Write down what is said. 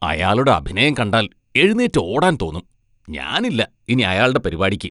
അയാളുടെ അഭിനയം കണ്ടാൽ എഴുന്നേറ്റ് ഓടാൻ തോന്നും, ഞാനില്ല ഇനി അയാളുടെ പരിപാടിക്ക്.